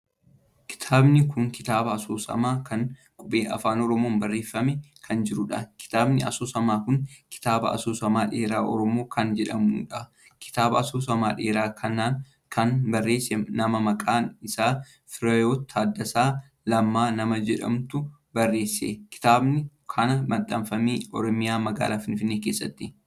Kitaabni kun kitaaba asoosamaa kan qubee Afaan Oromoon barreeffamee kan jiruudha. kitaabni asoosamaa kun kitaaba asooama dheeraa Oromoo kan jedhamuudha. kitaaba asoosama dheeraa kana kan barreesse mana Maqaa isaa Firehiwot Taaddasaa Lamma nama jedhamuutu barreesse. kitaabni kan maxxanfamee oromiyaa magaalaa Finfinnee keessatti.